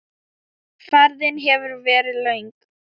Ferðin hefur verið löng.